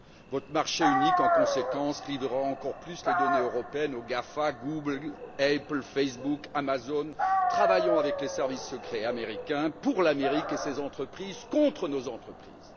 Votre marché unique, en conséquence, livrera encore plus les données européennes aux GAFA travaillant avec les services secrets américains, pour l'Amérique et ses entreprises, contre nos entreprises.